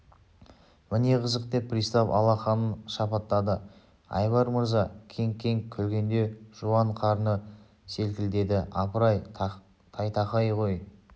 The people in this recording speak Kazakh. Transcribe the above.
міне қызық деп пристав алақанын шапаттады айбар мырза кеңк-кеңк күлгенде жуан қарны селкілдеді апыр-ай тайтақай ғой